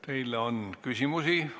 Teile on küsimusi.